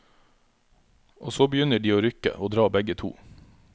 Og så begynner de å rykke og dra begge to.